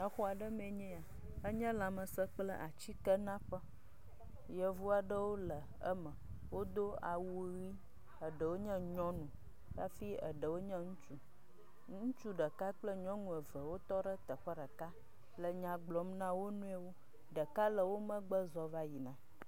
Xɔ aɖe me enye ya. Enye lãmesẽ kple atsikenaƒe. Yevu aɖewo le eme. Wodo awui ʋi eɖewo nye nyɔnu hafi eɖewo nye ŋutsu. Ŋutsu ɖeka kple nyɔnu eve wotɔ ɖe teƒe ɖeka le nya gblɔm na wonuiwo. Ɖeka le wo megbe zɔ̃ va yina.